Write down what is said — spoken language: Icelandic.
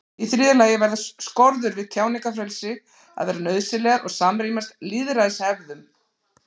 í þriðja lagi verða skorður við tjáningarfrelsi að vera nauðsynlegar og samrýmast lýðræðishefðum